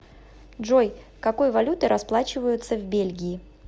джой какой валютой расплачиваются в бельгии